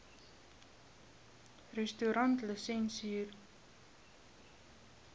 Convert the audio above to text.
restaurantlisensier